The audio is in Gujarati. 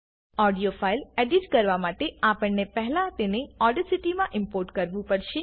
ઓડિયો ફાઈલ એડિટ કરવા માટે આપણને પહેલા તેને ઓડેસીટીમાં ઈમ્પોર્ટ કરવું પડશે